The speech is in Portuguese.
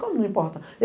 Como não importa?